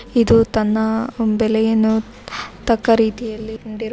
ಇದು ತನ್ನ ಬೆಲೆಯನ್ನು ತಕ್ಕ ರೀತಿಯಲ್ಲಿ ಇಟ್ಟಿಕೊಂ__